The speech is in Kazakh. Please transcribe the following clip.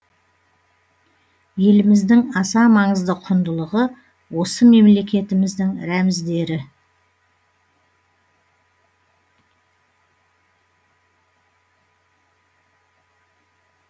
еліміздің аса маңызды құндылығы осы мемлекетіміздің рәміздері